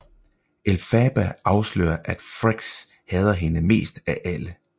Elphaba afslører at Frex hader hende mest af alle